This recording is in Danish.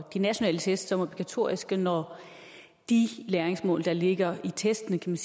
nationale test som obligatoriske når de læringsmål der ligger i testene